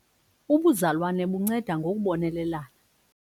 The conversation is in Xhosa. Ubuzalwane bunceda ngokubonelelana.